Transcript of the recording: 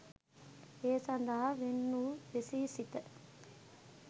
ඒ සඳහා වෙන් වූ විශේෂිත